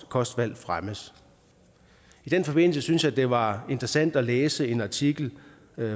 kostvalg fremmes i den forbindelse synes jeg at det var interessant at læse en artikel